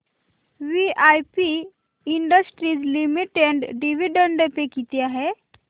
VIP industries limited dividend pay किती आहे